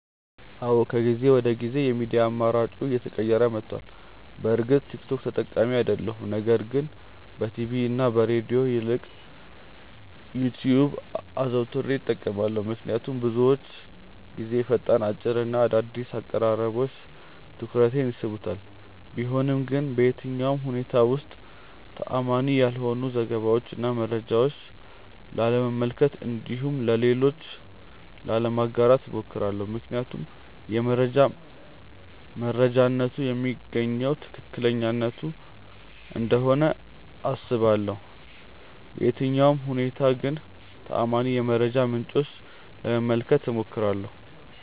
አዎ ከጊዜ ወደ ጊዜ የሚዲያ አማራጬ እየተቀየረ መቷል። በእርግጥ ቲክ ቶክ ተጠቃሚ አይደለሁም ነገር ግን በቲቪ እና ከሬድዮ ይልቅ ዩትዩብን አዘውትሬ እጠቀማለሁ። ምክንያቱም ብዙውን ጊዜ ፈጣን፣ አጭር እና አዳዲስ አቀራረቦች ትኩረቴን ይስቡታል። ቢሆንም ግን በየትኛውም ሁኔታዎች ውስጥ ተአማኒ ያልሆኑ ዘገባዎችን እና መረጃዎችን ላለመመልከት እንዲሁም ለሌሎች ላለማጋራት እሞክራለሁ። ምክንያቱም የመረጃ መረጃነቱ የሚገኘው ከትክክለኛነቱ እንደሆነ አስባለሁ። በየትኛውም ሁኔታ ግን ተአማኒ የመረጃ ምንጮችን ለመመልከት እሞክራለሁ።